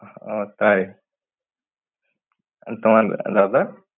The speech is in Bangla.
ও তাই। তোমার দাদা?